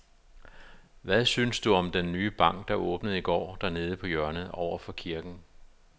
Hvad synes du om den nye bank, der åbnede i går dernede på hjørnet over for kirken?